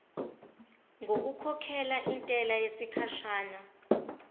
ngokukhokhela intela yesikhashana